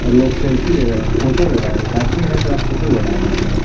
और लोग सेल्फी ले रहे हैं फोटो ले रहा है एक आदमी है साला फोटो ले रहा है बार-बार।